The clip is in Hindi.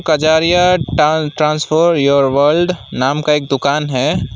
कजारिया टान ट्रांसफॉर्म योर वर्ल्ड नाम का एक दुकान है।